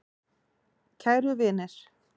Kæru vinir.